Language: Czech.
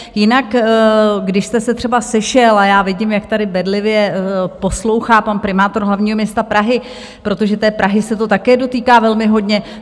Jinak když jste se třeba sešel - a já vidím, jak tady bedlivě poslouchá pan primátor hlavního města Prahy, protože té Prahy se to také dotýká velmi hodně.